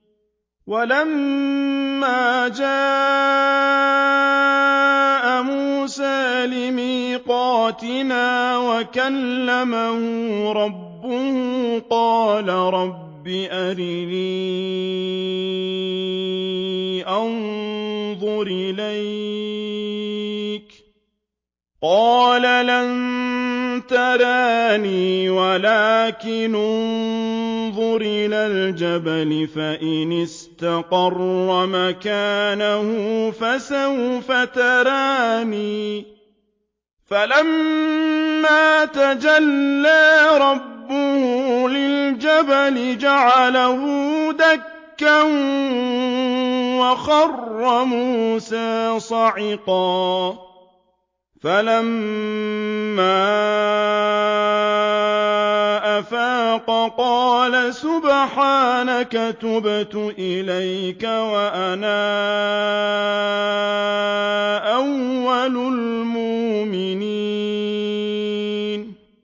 وَلَمَّا جَاءَ مُوسَىٰ لِمِيقَاتِنَا وَكَلَّمَهُ رَبُّهُ قَالَ رَبِّ أَرِنِي أَنظُرْ إِلَيْكَ ۚ قَالَ لَن تَرَانِي وَلَٰكِنِ انظُرْ إِلَى الْجَبَلِ فَإِنِ اسْتَقَرَّ مَكَانَهُ فَسَوْفَ تَرَانِي ۚ فَلَمَّا تَجَلَّىٰ رَبُّهُ لِلْجَبَلِ جَعَلَهُ دَكًّا وَخَرَّ مُوسَىٰ صَعِقًا ۚ فَلَمَّا أَفَاقَ قَالَ سُبْحَانَكَ تُبْتُ إِلَيْكَ وَأَنَا أَوَّلُ الْمُؤْمِنِينَ